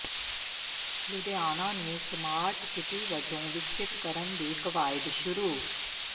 ਲੁਧਿਆਣਾ ਨੂੰ smart city ਵਜੋਂ ਵਿਕਸਤ ਕਰਨ ਦੀ ਕਵਾਇਦ ਸ਼ੁਰੂ